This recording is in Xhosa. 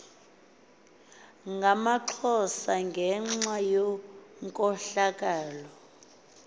ngamaxhosa ngenxa yenkohlakalo